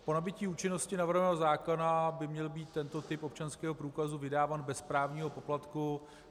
Po nabytí účinnosti navrhovaného zákona by měl být tento typ občanského průkazu vydáván bez správního poplatku.